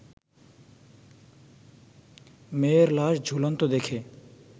মেয়ের লাশ ঝুলন্ত দেখে